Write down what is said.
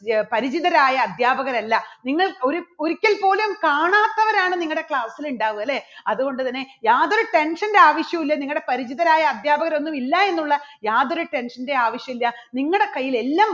പരിചിതരായ അധ്യാപകരല്ലാ നിങ്ങൾ ഒര് ഒരിക്കൽപോലും കാണാത്തവരാണ് നിങ്ങളുടെ class ൽ ഉണ്ടാവുക. അല്ലേ? അതുകൊണ്ടുതന്നെ യാതൊരു tension ന്റെ ആവശ്യവില്ല നിങ്ങളുടെ പരിചിതരായ അധ്യാപകര് ഒന്നും ഇല്ല എന്നുള്ള യാതൊരു tension ന്റെയും ആവശ്യല്ല നിങ്ങളുടെ കയ്യിൽ എല്ലാം